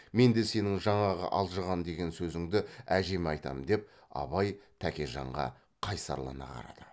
мен де сенің жаңағы алжыған деген сөзіңді әжеме айтамын деп абай тәкежанға қайсарлана қарады